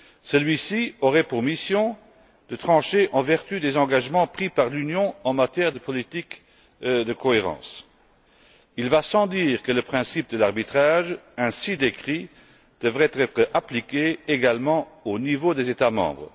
Celui ci aurait pour mission de trancher en vertu des engagements pris par l'Union en matière de politique de cohérence. Il va sans dire que le principe de l'arbitrage, ainsi décrit, devrait être appliqué également au niveau des États membres.